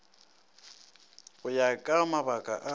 go ya ka mabaka a